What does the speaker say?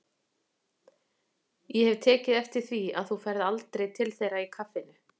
Ég hef tekið eftir því að þú ferð aldrei til þeirra í kaffinu.